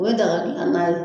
O dagadilannan ye